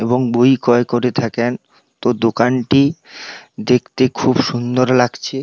এবং বই ক্রয় করে থাকেন । তো দোকানটি দেখতে খুব সুন্দর লাগছে।